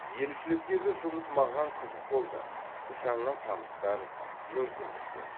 елшіліктегі жұмыс маған қызық болды жаңа таныстар мүмкіндіктер